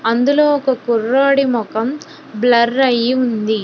అందులో ఒక కుర్రోడి మొఖం బ్లర్ అయి ఉంది.